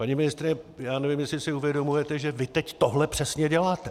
Paní ministryně, já nevím, jestli si uvědomujete, že vy teď tohle přesně děláte.